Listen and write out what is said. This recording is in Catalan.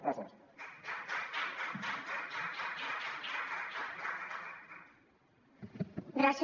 gràcies